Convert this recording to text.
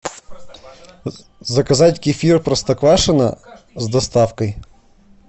заказать кефир простоквашино с доставкой